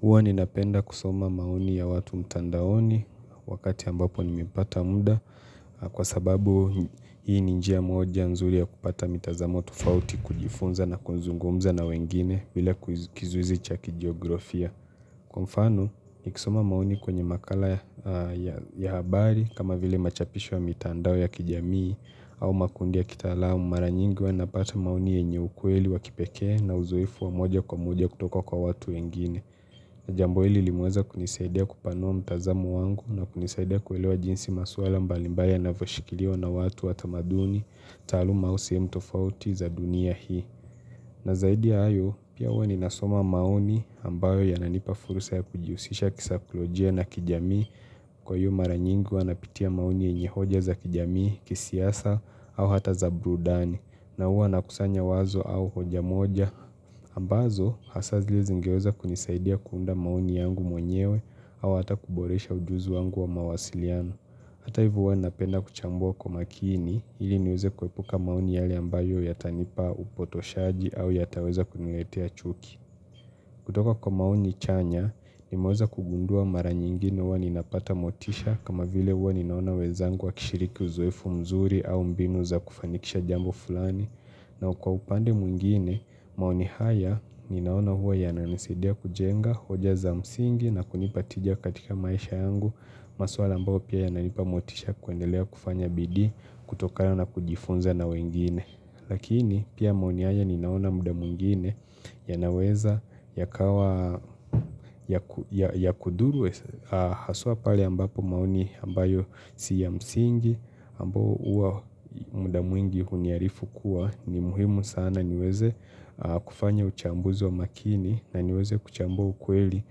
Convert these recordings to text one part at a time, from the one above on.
Huwa ninapenda kusoma maoni ya watu mtandaoni wakati ambapo nimepata muda kwa sababu hii ni njia moja nzuri ya kupata mitazamo tofauti kujifunza na kuzungumza na wengine bila kizuizi cha kijiografia. Kwa mfano, nikisoma maoni kwenye makala ya habari kama vile machapisho ya mitandao ya kijamii au makundi ya kitaalamu mara nyingi huwa napata maoni yenye ukweli wa kipekee na uzoefu wa moja kwa moja kutoka kwa watu wengine. Jambo hili limeweza kunisaidia kupanua mtazamo wangu na kunisaidia kuelewa jinsi maswala mbalimbaya yanavyoshikiliwa na watu wa tamaduni, taaluma au sehemu tofauti za dunia hii. Na zaidi ya hayo, pia huwa ninasoma maoni ambayo yananipa fursa ya kujihusisha kisaikolojia na kijamii, kwa iyo mara nyingi huwa napitia maoni yenye hoja za kijamii, kisiasa, au hata za brudani. Na huwa nakusanya wazo au hoja moja ambazo hasa zile ngeweza kunisaidia kuunda maoni yangu mwenyewe, au hata kuboresha ujuzi wangu wa mawasiliano. Hata hivyo huwa napenda kuchambua kwa makini ili niweze kuepuka maoni yale ambayo yatanipa upotoshaji au yataweza kuniletea chuki kutoka kwa maoni chanya, mimeweza kugundua mara nyingi na uwa ninapata motisha kama vile uwa ninaona wenzangu wakishiriki uzoefu mzuri au mbinu za kufanikisha jambo fulani na kwa upande mwingine maoni haya ninaona huwa yananisaidia kujenga hoja za msingi na kunipa tija katika maisha yangu masuala ambayo pia yananipa motisha kuendelea kufanya bidii kutokana na kujifunza na wengine. Lakini pia maoni haya ninaona muda mwingine yanaweza yakawa ya ku ya kudhuru hasua pale ambapo maoni ambayo si ya msingi ambao uwa muda mwingi huniarifu kuwa ni muhimu sana niweze kufanya uchambuzi wa makini na niweze kuchambua ukweli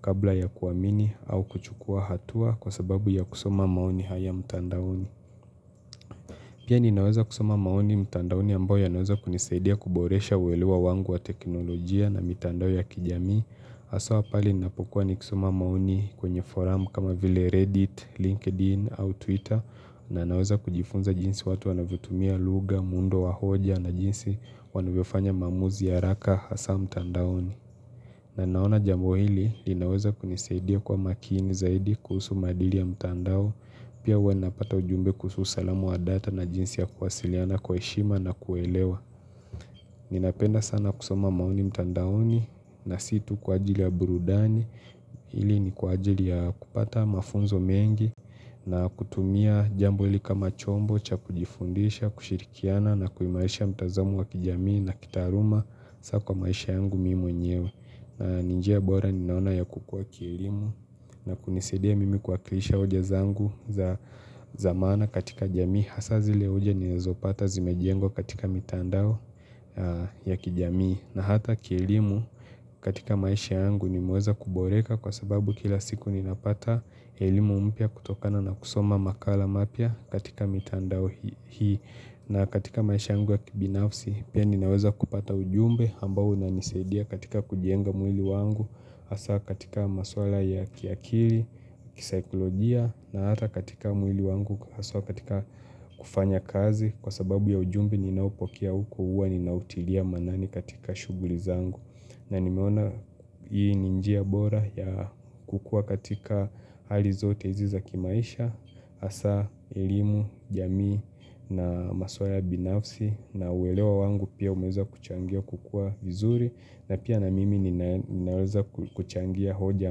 kabla ya kuamini au kuchukua hatua kwa sababu ya kusoma maoni haya mtandaoni. Pia ninaweza kusoma maoni mtandaoni ambayo yanaweza kunisaidia kuboresha uwelewa wangu wa teknolojia na mitandao ya kijamii. Haswa pale ninapukua nikisoma maoni kwenye forum kama vile Reddit, LinkedIn au Twitter na naweza kujifunza jinsi watu wanavyotumia lugha, muundo wa hoja na jinsi wanavyofanya maamuzi ya haraka hasa mtandaoni. Na naona jambo hili, linaweza kunisaidia kwa makini zaidi kuhusu maadili ya mtandao, pia huwa napata ujumbe kuhusu usalama wa data na jinsi ya kuwasiliana kwa heshima na kuelewa. Ninapenda sana kusoma maoni mtandaoni na si tu kwa ajili ya burudani, hili ni kwa ajili ya kupata mafunzo mengi na kutumia jambo hili kama chombo cha kujifundisha, kushirikiana na kuimarisha mtazamo wa kijamii na kitaaluma sa kwa maisha yangu mi mwenyewe. Na ni njia bora ninaona ya kukuwa kielimu na kunisaidia mimi kuwakilisha hoja zangu za za maana katika jamii hasa zile hoja ninazopata zimejengwa katika mitandao ya kijamii na hata kielimu katika maisha yangu nimeweza kuboreka kwa sababu kila siku ninapata elimu mpya kutokana na kusoma makala mapya katika mitandao hii na katika maisha yangu ya kibinafsi, pia ninaweza kupata ujumbe ambao unanisaidia katika kujenga mwili wangu, hasa katika maswala ya kiakili, kisaikolojia na hata katika mwili wangu, haswa katika kufanya kazi kwa sababu ya ujumbe ninaopokea huko huwa ninautilia maanani katika shughuli zangu. Na nimeona hii ni njia bora ya kukua katika hali zote hizi za kimaisha, hasa elimu, jamii na maswala binafsi na uwelewa wangu pia umeza kuchangia kukua vizuri na pia na mimi nina ninaweza kuchangia hoja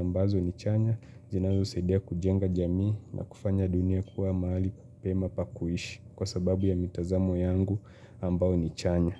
ambazo ni chanya, zinazosaidia kujenga jamii na kufanya dunia kuwa mahali pema pa kuishi kwa sababu ya mitazamo yangu ambao ni chanya.